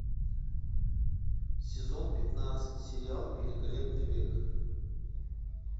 сезон пятнадцать сериал великолепный век